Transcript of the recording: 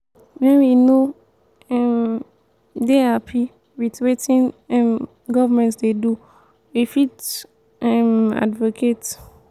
when we no um dey happy with wetin um governement dey do we fit um advocate